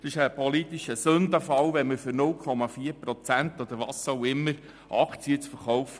Es ist ein politischer Sündenfall, wenn wir ein Gesetz schreiben, um etwa 0,4 Prozent Aktien zu verkaufen.